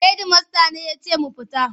Hedimasta ne ya ce mu fita.